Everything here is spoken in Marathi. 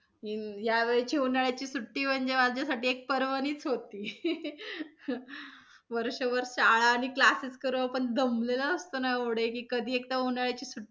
हम्म यावेळची उन्हाळ्याची सुट्टी म्हणजे माझ्यासाठी एक पर्वणीच होती . वर्षभर शाळा आणि classes करून दमलेलो असतो ना ऐवढे की कधी एकदा उन्हाळ्याची सुट्टी,